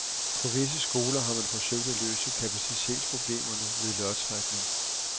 På visse skoler har man forsøgt at løse kapacitetsproblemerne ved lodtrækning.